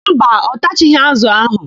Mba, ọ tachaghị ázụ̀ áhụ̀.